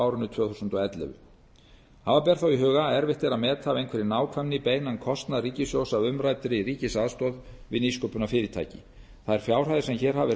árinu tvö þúsund og ellefu hafa ber þó í huga að erfitt er að meta af einhverri nákvæmni beinan kostnað ríkissjóðs af umræddri ríkisaðstoð við nýsköpunarfyrirtæki þær fjárhæðir sem hér hafa verið